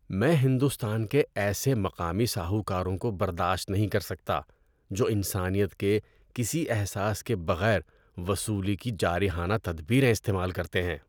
میں ہندوستان کے ایسے مقامی ساہوکاروں کو برداشت نہیں کر سکتا جو انسانیت کے کسی احساس کے بغیر وصولی کی جارحانہ تدبیریں استعمال کرتے ہیں۔